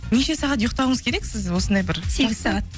неше сағат ұйықтауыңыз керек сіз осындай бір сегіз сағат